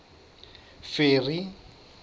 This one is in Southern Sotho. ferry